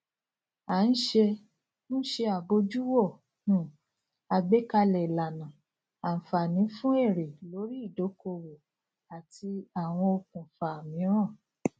a n se n se abojuwo um àgbékalẹ ìlànà anfààní fún èrè lórí ìdókòwò àti àwọn okùnfà míràn